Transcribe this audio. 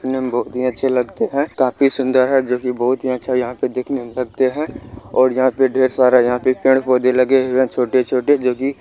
नीम बहुत ही अच्छे लगते हैं काफी सूंदर हैं जो की बहुत ही अच्छा यहाँ पे देखने में लगते हैं और यहाँ पर ढ़ेर सारा यहाँ पे पड़े पौधे लगे हुए हैं। छोटे-छोटे जो की--